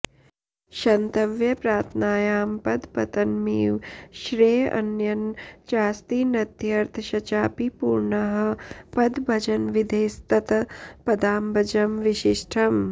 क्षन्तव्यप्रार्थनायां पदपतनमिव श्रेय अन्यन्न चास्ति नत्यर्थश्चापि पूर्णः पदभजनविधेस्तत्पदाब्जं विशिष्टम्